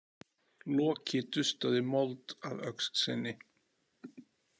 Loki dustaði mold af öxl sinni.